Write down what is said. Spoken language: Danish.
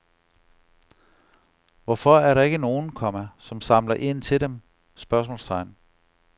Hvorfor er der ikke nogen, komma som samler ind til dem? spørgsmålstegn